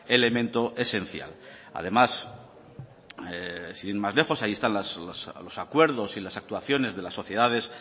elemento esencial además sin ir más lejos ahí están los acuerdos y las actuaciones de la sociedades